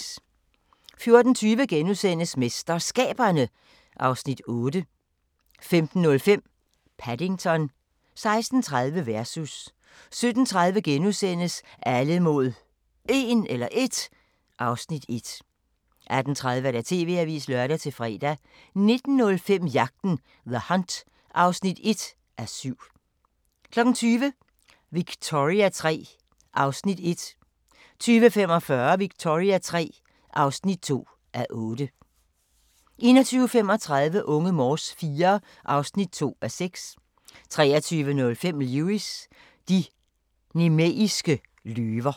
14:20: MesterSkaberne (Afs. 8)* 15:05: Paddington 16:30: Versus 17:30: Alle mod 1 (Afs. 1)* 18:30: TV-avisen (lør-fre) 19:05: Jagten – The Hunt (1:7) 20:00: Victoria III (1:8) 20:45: Victoria III (2:8) 21:35: Unge Morse IV (2:6) 23:05: Lewis: De nemeiske løver